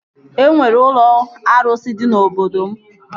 E nwere ụlọ arụsị dị na obodo m